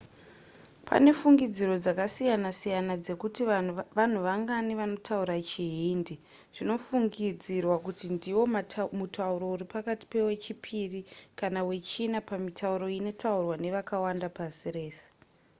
pane fungidziro dzakasiyana-siyana dzekuti vanhu vangani vanotaura chihindi zvinofungidzirwa kuti ndiwo mutauro uri pakati pewechipiri kana wechina pamitauro inotaurwa nevakawanda pasi rese